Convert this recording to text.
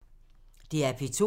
DR P2